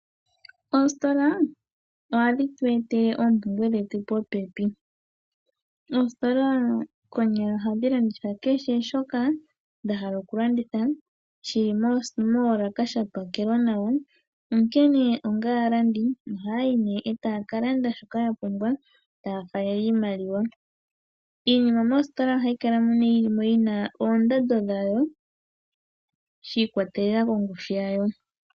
Oositola ohadhi tu etele oompumbwe dhetu popepi. Oositola konyala oha dhi landitha kehe shoka dha hala okulanditha shili moolaka sha pakelwa nawa. Onkene onga aalandi ohaya yi nee taya ka landa shoka ya pumbwa taya faalele iimaliwa. Iinima moositola ohayi kala mo yina oondando dhawo shi ikwatelela kongushu yawo.